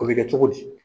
O bɛ kɛ cogo di